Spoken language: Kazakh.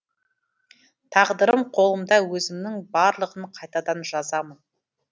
тағдырым қолымда өзімнің барлығын қайтадан жазамын